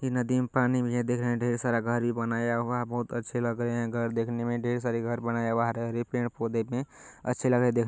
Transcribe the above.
इ नदी में पानी भी है देख रहे है ढेर सारे घर बनाया हुआ है बहुत अच्छे लग रहे घर देखने में ढेर सारे घर बनाया हुआ हरे हरे पेड़ पौधे में अच्छे लग रहे है देख----